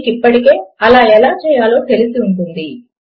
మీకు ఇప్పటికే అలా ఎలా చేయాలో తెలిసి ఉంటుంది